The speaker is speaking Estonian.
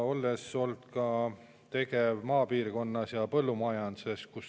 Olen olnud ka tegev maapiirkonnas ja põllumajanduses.